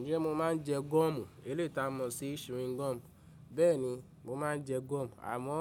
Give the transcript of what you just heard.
Ǹjẹ́ mo máa ń jẹ gọ́ọ̀mù? Eléyi tà mọ̀ sí chewing gum. Bẹ́ẹ̀ni, mo máa ń jẹ gọ́ọ̀mù àmọ́